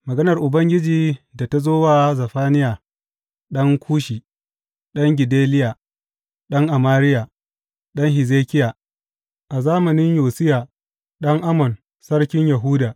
Maganar Ubangiji da ta zo wa Zefaniya ɗan Kushi, ɗan Gedaliya, ɗan Amariya, ɗan Hezekiya, a zamanin Yosiya ɗan Amon sarkin Yahuda.